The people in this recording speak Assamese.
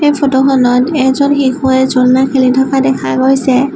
এই ফটো খনত এজন শিশুৱে ঝুলনা খেলি থকা দেখা গৈছে।